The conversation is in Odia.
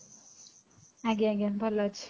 ଆଜ୍ଞା ଆଜ୍ଞା ଭଲ ଅଛି